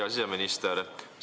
Hea siseminister!